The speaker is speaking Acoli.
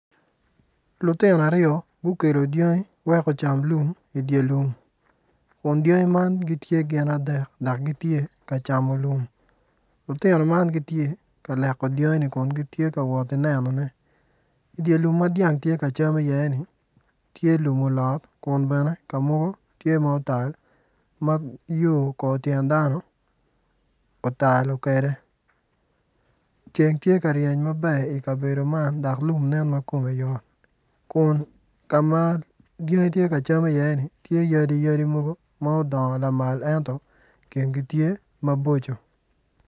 Lutino aryo gukelo dyangi wek gucam lum i dye lum kun dyangi man tye gin adek dok gitye ka camo lum lutino man gitye ka leko dyangi man kun gitye ka nenone i dye lum ma dyang tye ka cam iyeni tye lum olot ka mogo otal ma yo kor tyen dano otalo kwede ceng tye ka ryeny maber i kabedo man dok lum tye ma kome yot kun ka ma dyangi tye ka cam iye ni tye yadi yadi mogo ma odongo lamal ento kingi tye maboco.